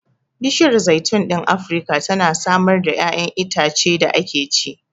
Bishiyar zaitun ɗin Afirka tana samar da ƴaƴanan itacen da ake ci.